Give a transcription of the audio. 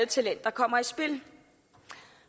talenter kommer i spil